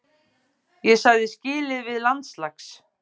Ég sagði skilið við landslags